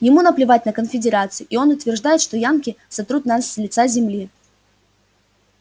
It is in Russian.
ему наплевать на конфедерацию и он утверждает что янки сотрут нас с лица земли